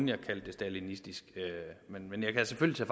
jeg kaldte det stalinistisk men jeg kan selvfølgelig